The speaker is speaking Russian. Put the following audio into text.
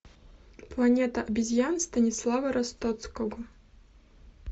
планета обезьян станислава ростоцкого